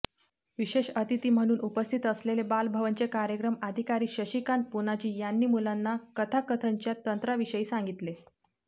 विशेष अतिथी म्हणून उपस्थित असलेले बालभवनचे कार्यक्रम अधिकारी शशिकांत पुनाजी यांनी मुलांना कथाकथनच्या तंत्राविषयी सांगितले